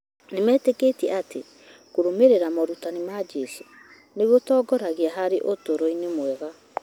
Nĩmetĩkĩtie atĩ kũrũmĩrĩra morutani ma Jesũ nĩ gũtongoragia harĩ ũtũũro-inĩ mwega.